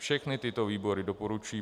Všechny tyto výbory doporučuji